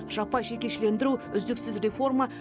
жаппай жекешелендіру үздіксіз реформа